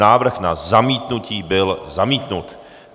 Návrh na zamítnutí byl zamítnut.